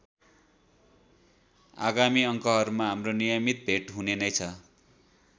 आगामी अङ्कहरुमा हाम्रो नियमित भेट हुने नै छ।